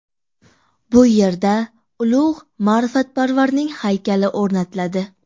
Bu yerda ulug‘ ma’rifatparvarning haykali o‘rnatiladi.